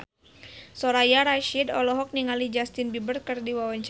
Soraya Rasyid olohok ningali Justin Beiber keur diwawancara